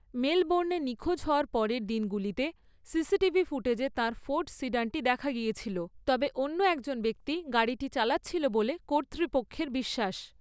মেলবোর্নে নিখোঁজ হওয়ার পরের দিনগুলিতে সিসিটিভি ফুটেজে তাঁর ফোর্ড সিডানটি দেখা গিয়েছিল, তবে অন্য একজন ব্যক্তি গাড়িটি চালাচ্ছিল বলে কর্তৃপক্ষের বিশ্বাস।